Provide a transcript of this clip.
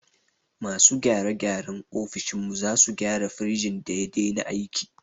Masu gyare gyaren ofishin mu sazu gyara firejin da ya dena aiki